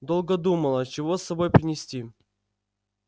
долго думала чего с собой принести